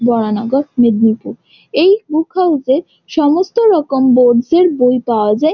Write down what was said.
বরানগর মাদিনীপুর। এই book house -এ সমস্ত রকম বোর্ডস -এর বই পায়া যায় ।